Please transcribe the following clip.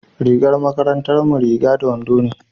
rigar makarantar mu riga da wando ne